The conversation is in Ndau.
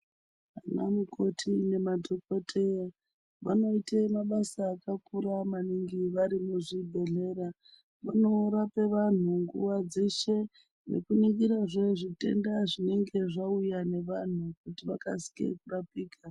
Vanamukoti nemadhokotera vanoite mabasa akakura maningi vari muzvibhehlera vanorape vanhu nguwa dzeshe nekuningirazve zvitenda zvinenge zvauya nevanhu kuti vakasike kurapika.